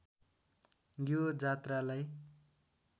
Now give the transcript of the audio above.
यो जात्रालाई